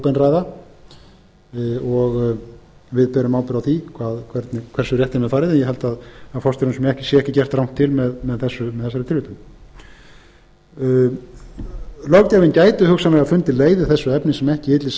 óbein ræða og við berum ábyrgð á því hversu rétt er með farið ég held að forstjóranum sé ekki gert rangt til með þessari tilvitnun löggjafinn gæti hugsanlega fundið leið í þessu efni sem ekki ylli